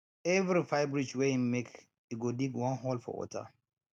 every five ridge wey him make e go dig one hole for water